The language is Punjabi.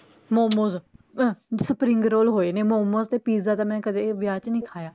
ਮੋਮੋਸ ਅਹ spring roll ਹੋਏ ਨੇ ਮੋਮੋਸ ਤੇ pizza ਤਾਂ ਮੈਂ ਕਦੇ ਵਿਆਹ ਚ ਨੀ ਖਾਇਆ